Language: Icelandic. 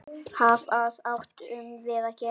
Hvað áttum við að gera?